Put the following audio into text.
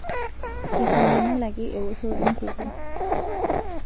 Eitanyamalaki ewoshoto enkukuo